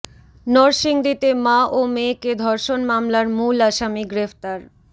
নরসিংদীতে মা ও মেয়েকে ধর্ষণ মামলার মূল আসামি গ্রেফতার